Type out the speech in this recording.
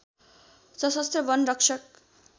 सशस्त्र वन रक्षक